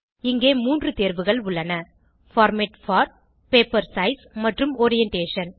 இங்கே 3 தேர்வுகள் உள்ளன பார்மேட் போர் பேப்பர் சைஸ் மற்றும் ஓரியன்டேஷன்